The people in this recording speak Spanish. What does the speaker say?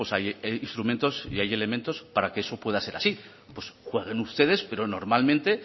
hay instrumentos y hay elementos para que eso pueda ser así pues jueguen ustedes pero normalmente